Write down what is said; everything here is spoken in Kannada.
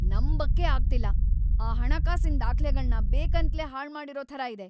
ನಂಬಕ್ಕೇ ಆಗ್ತಿಲ್ಲ! ಆ ಹಣಕಾಸಿನ್ ದಾಖ್ಲೆಗಳ್ನ ಬೇಕಂತ್ಲೇ ಹಾಳ್ಮಾಡಿರೋ ಥರ ಇದೆ!